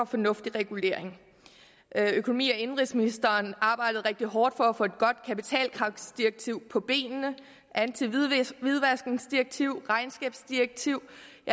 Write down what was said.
fornuftig regulering økonomi og indenrigsministeren arbejdede rigtig hårdt for at få et godt kapitalkravsdirektiv på benene og antihvidvaskdirektiv og regnskabsdirektivet